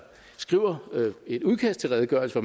skriver et udkast til redegørelse